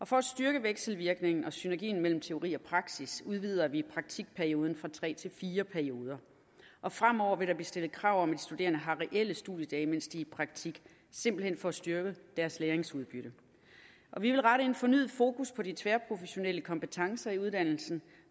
for at styrke vekselvirkningen og synergien mellem teori og praksis udvider vi praktikperioden fra tre til fire perioder fremover vil der blive stillet krav om studerende har reelle studiedage mens de er i praktik simpelt hen for at styrke deres læringsudbytte vi vil rette fornyet fokus på de tværprofessionelle kompetencer i uddannelsen